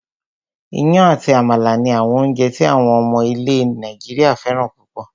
Iyán àti àmàlà ni àwọn oúnjẹ tí àwọn ọmọ ilẹ̀ Nàìjíríà fẹ́ràn púpọ̀